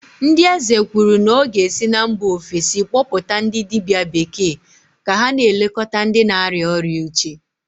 ndị eze kwuru na ọ ga-esi na mba ofesi kpọpụta ndị dibia bekee ka ha na-elekọta ndị na-arịa ọrịa uche